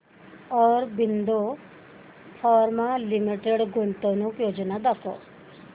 Aurobindo Pharma Limited गुंतवणूक योजना दाखव